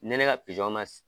Ne ne ka ma